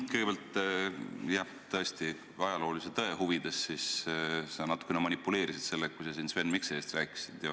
Kõigepealt, jah, tõesti, ajaloolise tõe huvides ütlen, et sa natukene manipuleerisid, kui sa siin Sven Mikserist rääkisid.